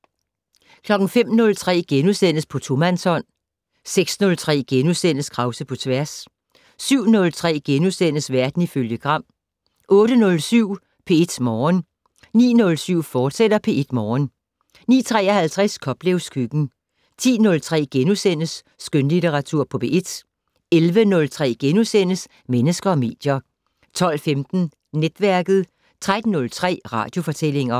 05:03: På tomandshånd * 06:03: Krause på tværs * 07:03: Verden ifølge Gram * 08:07: P1 Morgen 09:07: P1 Morgen, fortsat 09:53: Koplevs køkken 10:03: Skønlitteratur på P1 * 11:03: Mennesker og medier * 12:15: Netværket 13:03: Radiofortællinger